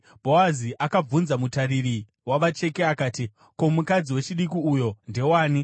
Bhoazi akabvunza mutariri wavacheki akati, “Ko, mukadzi wechidiki uyo ndewani?”